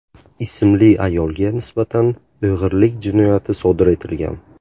ismli ayolga nisbatan o‘g‘irlik jinoyati sodir etilgan.